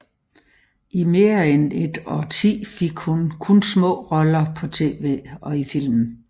I mere end et årti fik hun kun små roller på tv og i film